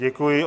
Děkuji.